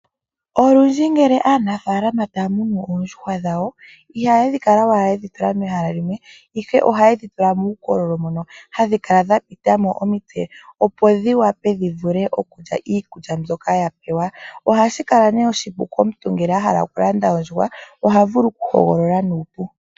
Olundji ngele aanafalama taya munu oondjuhwa dhawo ihaya kala ashike yedhi tula mehala limwe. Ihe oha yedhi tula muukololo mono hadhi kala dhapitamo omitse, opo dhi vule okulya iikulya dhono tadhi pewa, shino ohashi kwathele wo uuna omuntu a hala okulanda ondjuhwa ota hogolola nuupu.